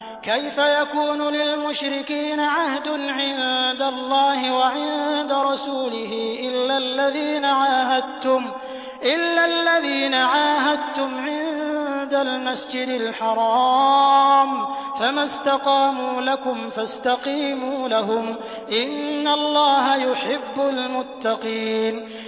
كَيْفَ يَكُونُ لِلْمُشْرِكِينَ عَهْدٌ عِندَ اللَّهِ وَعِندَ رَسُولِهِ إِلَّا الَّذِينَ عَاهَدتُّمْ عِندَ الْمَسْجِدِ الْحَرَامِ ۖ فَمَا اسْتَقَامُوا لَكُمْ فَاسْتَقِيمُوا لَهُمْ ۚ إِنَّ اللَّهَ يُحِبُّ الْمُتَّقِينَ